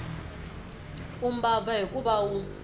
u mbabva hikuva a wu